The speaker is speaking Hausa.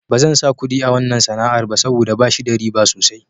Ba zan sa kuɗi a wanna sana'ar ba saboda bashi da riba sosai.